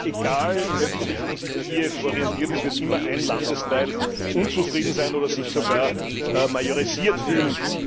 Egal, in welche Richtung sich Kiew orientiert, es wird immer ein Landesteil unzufrieden sein oder sich sogar majorisiert fühlen.